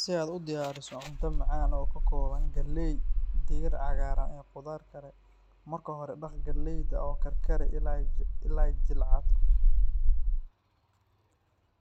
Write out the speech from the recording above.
Si aad u diyaariso cunto macaan oo ka kooban galley, digir cagaaran iyo khudaar kale, marka hore dhaq galleyda oo karkari ilaa ay jilcato.